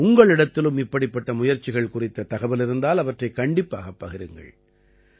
உங்களிடத்திலும் இப்படிப்பட்ட முயற்சிகள் குறித்த தகவல் இருந்தால் அவற்றைக் கண்டிப்பாகப் பகிருங்கள்